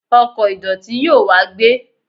ọkò ìdòtí yóò wá gbé